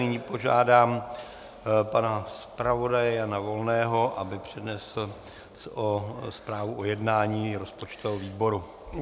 Nyní požádám pana zpravodaje Jana Volného, aby přednesl zprávu o jednání rozpočtového výboru.